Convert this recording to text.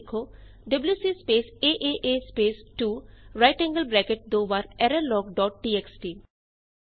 command ਲਿੱਖੋ W C space A A A space 2 right angled bracket twice error log dot TXT